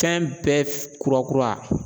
Fɛn bɛɛ kura kura.